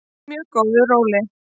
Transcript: Á mjög góðu róli.